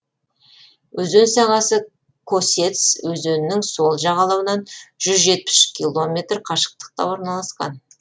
өзен сағасы косец өзенінің сол жағалауынан жүз жетпіс үш километр қашықтықта орналасқан